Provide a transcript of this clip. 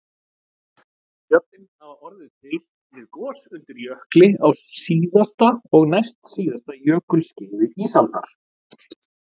Fjöllin hafa orðið til við gos undir jökli á síðasta og næstsíðasta jökulskeiði ísaldar